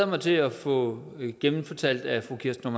mig til at få genfortalt af fru kirsten